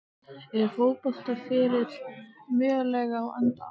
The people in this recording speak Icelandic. Er fótboltaferillinn mögulega á enda?